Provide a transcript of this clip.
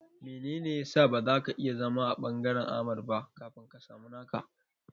Menene ya sa ba zaka iya zama a ɓangaren Ahmad ba kafin ka samu naka?